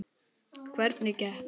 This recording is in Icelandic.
Elísabet Hall: Hvernig gekk?